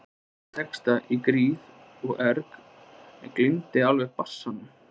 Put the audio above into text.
Hann samdi texta í gríð og erg en gleymdi alveg bassanum.